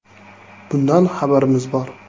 Bundan xabarimiz bor.